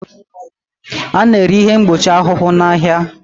A na-ere ihe mgbochi ahụhụ n'ahịa